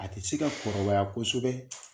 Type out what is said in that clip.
A tɛ se ka kɔrɔbaya kosɛbɛ